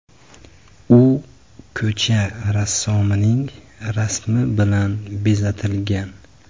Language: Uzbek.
U ko‘cha rassomining rasmi bilan bezatilgan.